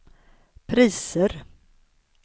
priser